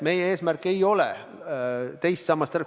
Meie eesmärk ei ole teist sammast lammutada.